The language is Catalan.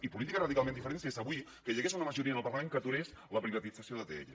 i política radicalment diferent és avui que hi hagués una majoria en el parlament que aturés la privatització d’atll